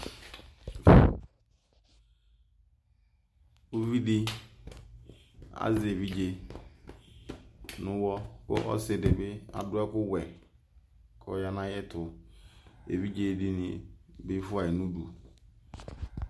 uvidi ɑze ɛvidze nuwɔ kɔsidibi ɑduekuwe kɔyanayetu ɛvidzedini bifuayi